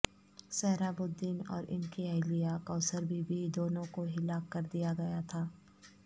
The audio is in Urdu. سہراب الدین اور ان کی اہلیہ کوثر بی بی دونوں کو ہلاک کردیا گیاتھا